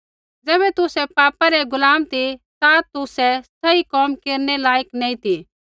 ज़ैबै तुसै पापा रै गुलाम ती ता तुसै सही कोम केरनै लायक नैंई ती